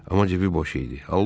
Amma cibi boş idi,